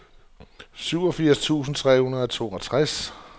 syvogfirs tusind tre hundrede og toogtres